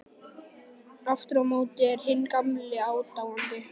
Aftur á móti er hinn gamli aðdáandi